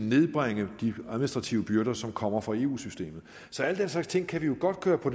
nedbringe de administrative byrder som kommer fra eu systemet al den slags ting kan vi jo godt køre på